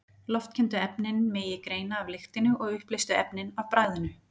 Loftkenndu efnin megi greina af lyktinni og uppleystu efnin af bragðinu.